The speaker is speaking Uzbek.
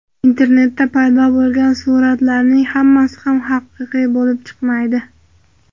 Internetda paydo bo‘lgan suratlarning hammasi ham haqiqiy bo‘lib chiqmaydi.